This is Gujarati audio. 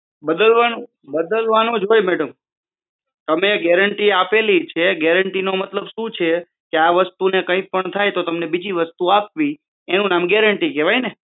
બદલવાનું જ હોય મેડમ તમે ગેરંટી આપેલી છે ગેરંટી મતલબ શું છે કે આ વસ્તુ ને કંઈ પણ થાય તો તમને બીજી વસ્તુ આપવી એનું નામ ગેરંટી કેવાય ને